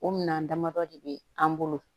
O minɛn damadɔ de be an bolo